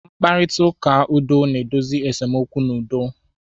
Mkparịta ụka udo na-edozi esemokwu n'udo.